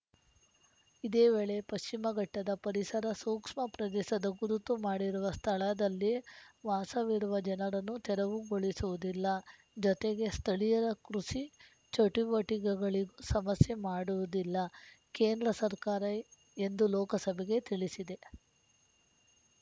ಇದೇ ವೇಳೆ ಪಶ್ಚಿಮ ಘಟ್ಟದ ಪರಿಸರ ಸೂಕ್ಷ್ಮ ಪ್ರದೇಶದ ಗುರುತು ಮಾಡಿರುವ ಸ್ಥಳದಲ್ಲಿ ವಾಸವಿರುವ ಜನರನ್ನು ತೆರವುಗೊಳಿಸುವುದಿಲ್ಲ ಜೊತೆಗೆ ಸ್ಥಳೀಯರ ಕೃಷಿ ಚಟುವಟಿಕೆಗಳಿ ಸಮಸ್ಯೆ ಮಾಡುವುದಿಲ್ಲ ಕೇಂದ್ರ ಸರ್ಕಾರ ಎಂದು ಲೋಕಸಭೆಗೆ ತಿಳಿಸಿದೆ